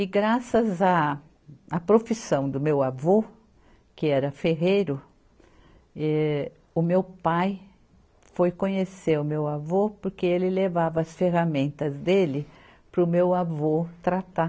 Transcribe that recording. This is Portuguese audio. E graças a, à profissão do meu avô, que era ferreiro, eh, o meu pai foi conhecer o meu avô porque ele levava as ferramentas dele para o meu avô tratar.